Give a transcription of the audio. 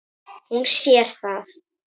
Hún sér það.